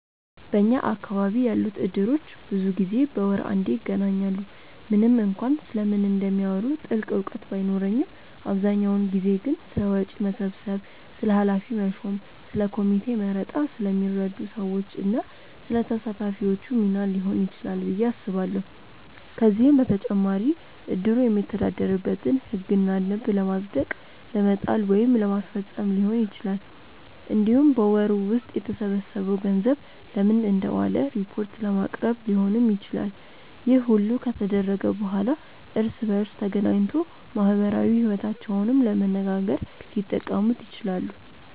በኛ አካባቢ ያሉት እድሮች ብዙ ጊዜ በወር አንዴ ይገናኛሉ። ምንም እንኳን ስለምን እንደሚያወሩ ጥልቅ እውቀት ባይኖረኝም አብዛኛውን ጊዜ ግን ስለ ወጪ መሰብሰብ፣ ስለ ኃላፊ መሾም፣ ስለ ኮሚቴ መረጣ፣ ስለሚረዱ ሰዎች እና ስለ ተሳታፊዎቹ ሚና ሊሆን ይችላል ብዬ አስባለሁ። ከዚህም በተጨማሪ እድሩ የሚተዳደርበትን ህግና ደንብ ለማጽደቅ ለመጣል ወይም ለማስፈፀም ሊሆን ይችላል። እንዲሁም በወሩ ውስጥ የተሰበሰበው ገንዘብ ለምን እንደዋለ ሪፖርት ለማቅረብ ሊሆንም ይችላል። ይህ ሁሉ ከተደረገ በኋላ እርስ በእርስ ተገናኝቶ ማህበራዊ ይወታቸውንም ለመነጋገር ሊጠቀሙት ይችላሉ።